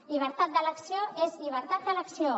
llibertat d’elecció és llibertat d’elecció